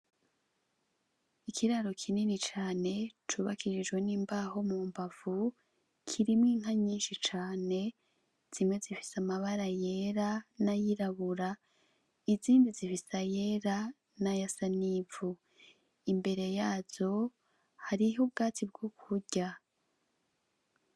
Ikiraro kinini cane cubakishijwe n'imbaho mu mbavu ,kirimwo inka nyinshi cane zimwe zifise amabara yera n'ayirabura izindi zifise ayera n'ayasa n'ivu, imbere yazo hariho ubwatsi bwo kurya.